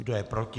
Kdo je proti?